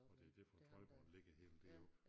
Og det er derfor Trøjborg ligger helt deroppe